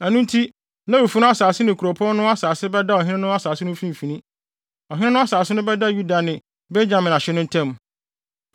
Ɛno nti Lewifo no asase ne kuropɔn no asase bɛda ɔhene asase no mfimfini. Ɔhene no asase no bɛda Yuda ne Benyamin ahye no ntam.